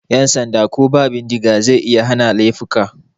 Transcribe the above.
Yan sanda ko ba bindiga zai iya hana laifuka.